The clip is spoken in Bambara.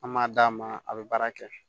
An m'a d'a ma a bɛ baara kɛ